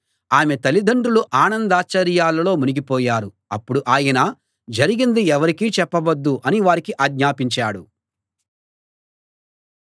ఆమె తల్లిదండ్రులు ఆనందాశ్చర్యాల్లో మునిగిపోయారు అప్పుడు ఆయన జరిగింది ఎవరికీ చెప్పవద్దు అని వారికి ఆజ్ఞాపించాడు